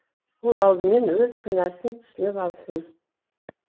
ол алдымен өз кінәсін түсініп алсын